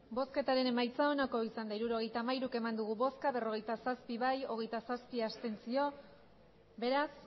hirurogeita hamairu eman dugu bozka berrogeita zazpi bai hogeita zazpi abstentzio beraz